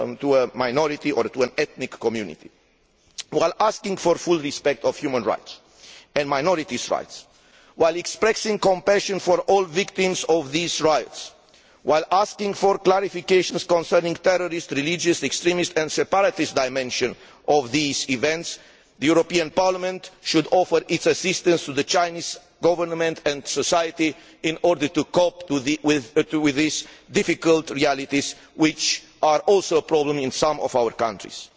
a minority or to an ethnic community. While asking for full respect for human rights and minority rights, while expressing compassion for all victims of these rights, while asking for clarification concerning terrorist, religious, extremist and separatist dimensions of these events, the European Parliament should offer its assistance to the Chinese Government and society in order to cope with these difficult realities, which are also a problem in some of our countries.